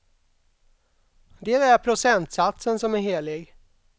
Det är procentsatsen som är helig.